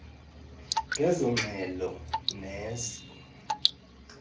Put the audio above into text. ngezo ngxelo nezo